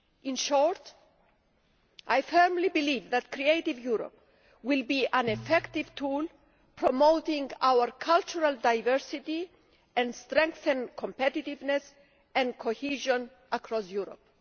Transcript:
In short, I firmly believe that Creative Europe will be an effective tool, promoting our cultural diversity and strengthening competitiveness and cohesion across Europe.